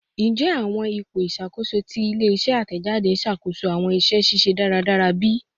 Njẹ awọn ipo iṣakoso ti ile-iṣẹ atẹjade n ṣakoso awọn iṣẹ ṣiṣe daradara bi?